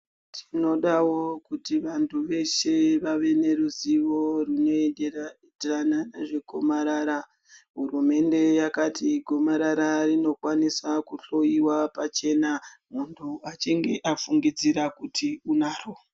Tinodawo kuti vantu veshe vave neruzivo rwunoenderana nezvegomarara. Hurumende yakati gomarara rinokwanisa kuhloyiwa pachena muntu afungidzira kuti anaro.